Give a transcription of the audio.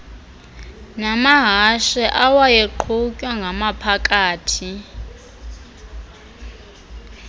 namahashe awayeqhutwya ngamaphakathi